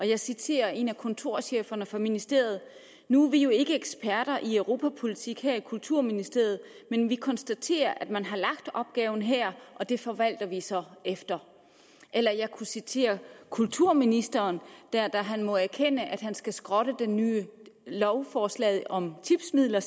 jeg citerer en af kontorcheferne fra ministeriet nu er vi jo ikke eksperter i europapolitik her i kulturministeriet men vi konstaterer at man har lagt opgaven her og det forvalter vi så efter eller jeg kunne citere kulturministeren der da han måtte erkende at han skulle skrotte det nye lovforslag om tipsmidler